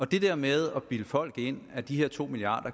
det der med at bilde folk ind at de her to milliard